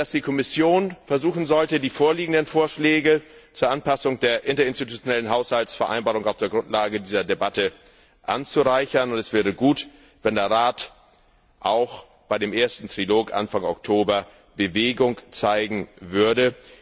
Die Kommission sollte versuchen, die vorliegenden Vorschläge zur Anpassung der Interinstitutionellen Haushaltsvereinbarung auf der Grundlage dieser Debatte anzureichern. Es wäre gut, wenn der Rat auch bei dem ersten Trilog Anfang Oktober Bewegung zeigen würde.